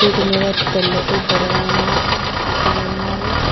వీటి మీద తెల్లటి పొడవైనా అట్టలు ఉన్నవి.